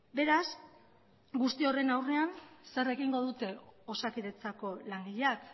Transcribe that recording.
beraz guzti horren aurrean zer egingo dute osakidetzako langileak